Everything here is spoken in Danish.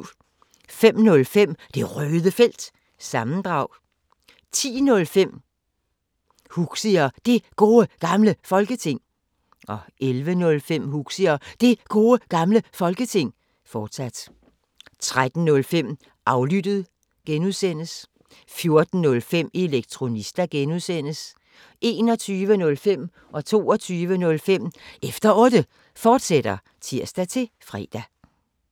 05:05: Det Røde Felt – sammendrag 10:05: Huxi og Det Gode Gamle Folketing 11:05: Huxi og Det Gode Gamle Folketing, fortsat 13:05: Aflyttet G) 14:05: Elektronista (G) 21:05: Efter Otte, fortsat (tir-fre) 22:05: Efter Otte, fortsat (tir-fre)